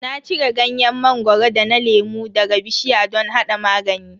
Na cire ganyen mangoro da na lemu daga bishiya don hada magani.